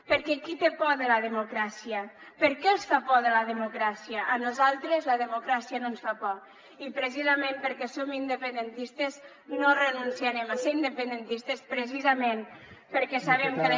perquè qui té por de la democràcia per què els fa por la democràcia a nosaltres la democràcia no ens fa por i precisament perquè som independentistes no renunciarem a ser independentistes precisament perquè sabem que la